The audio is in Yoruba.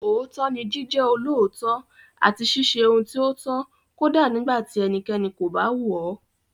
Òótọ́ ni Jíjẹ́ olóòótọ́ àti ṣíṣe ohun tí ó tọ́ kódà nígbà tí ẹnikẹ́ni kò bá wò ó.